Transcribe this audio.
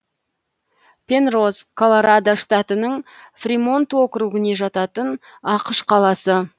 пенроз колорадо штатының фримонт округіне жататын ақш қаласы